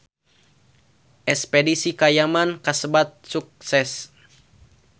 Espedisi ka Yaman kasebat sukses